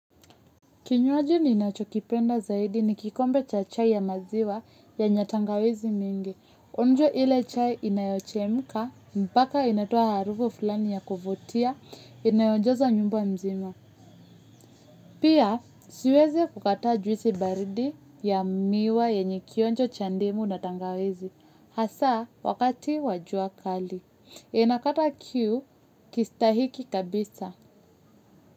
Kinywaji ninachokipenda zaidi ni kikombe cha chai ya maziwa yenye tangawizi mingi. Onjo ile chai inayochemka, mbaka inatoa harufu fulani ya kuvutia, inayojaza nyumba mzima. Pia, siwezi kukataa juisi baridi ya miwa yenye kionjo cha ndimu na tangawizi. Hasaa, wakati wa jua kali. Inakata kiu, kistahiki kabisa.